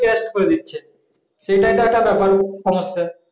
করে দিচ্ছে সেটাই তো একটা ব্যাপার সমস্যা